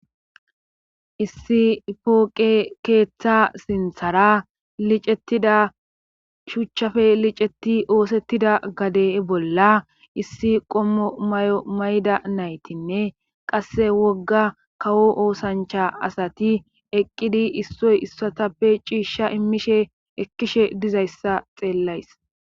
issi pooqe keeththa sinthara licettida shuchchafe liceti oosettida gade bolla issi qommo may7o mayda naytinne qasse wogga kawo oosancha asati eqqidi issoy issotappe ciishsha immishe ekkishe dizayssa xeellays